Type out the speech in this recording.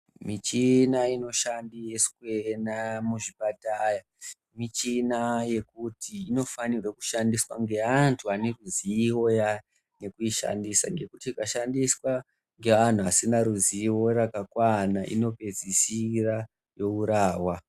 Michina inoshandiswa muzvipatara michina yekuti inofana kushandiswa ngeantu vane ruzivo yekuishandisa ngekuti ikashandiswa ngevantu vanenge vasina ruzivo rakakwana inopedzisirwa yourawa.